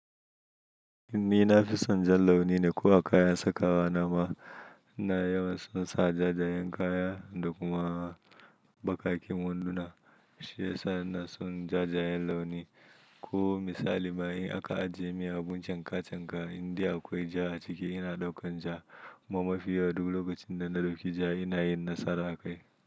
Nina fi son jan launi ne ko a kaya saka wa nama ina yawan son sa jajayen kaya da kuma baƙaƙen wanduna. Shi yasa na son jajayen launi. Ko misalima in aka ajiye mun abun canka canka, in dai akwai ja a ciki ina daukan ja. Kuma mafi yawa duk lokacin da na dauki ja ina yin nasara a kai.